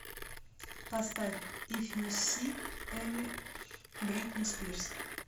поставь иф ю сик эми бритни спирс